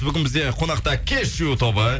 бүгін бізде қонақта кешью тобы